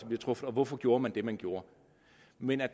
bliver truffet og hvorfor gjorde man det man gjorde men der